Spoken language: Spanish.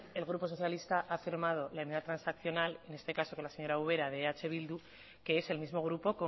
el grupo socialista ha firmado la enmienda transaccional en este caso que la señora ubera de eh bildu que es el mismo grupo